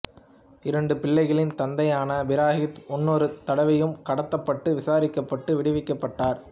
இரண்டு பிள்ளைகளின் தந்தையான பிரகீத் முன்னொரு தடவையும் கடத்தப்பட்டு விசாரிக்கப்பட்டு விடுவிக்கப்பட்டார்